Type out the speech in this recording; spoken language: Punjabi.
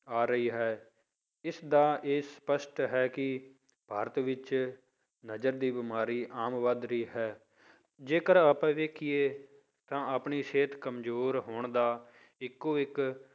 ਆ ਰਹੀ ਹੈ, ਇਸਦਾ ਇਹ ਸਪਸ਼ਟ ਹੈ ਕਿ ਭਾਰਤ ਵਿੱਚ ਨਜ਼ਰ ਦੀ ਬਿਮਾਰੀ ਆਮ ਵੱਧ ਰਹੀ ਹੈ, ਜੇਕਰ ਆਪਾਂ ਵੇਖੀਏ ਤਾਂ ਆਪਣੀ ਸਿਹਤ ਕੰਮਜ਼ੋਰ ਹੋਣ ਦਾ ਇੱਕੋ ਇੱਕ